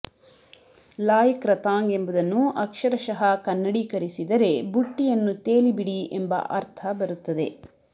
Loy Krathong ಎಂಬುದನ್ನು ಅಕ್ಷರಶಃ ಕನ್ನಡೀಕರಿಸಿದರೆ ಬುಟ್ಟಿಯನ್ನು ತೇಲಿಬಿಡಿ ಎಂಬ ಅರ್ಥ ಬರುತ್ತದೆ